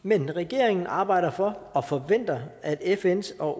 men regeringen arbejder for og forventer at fns og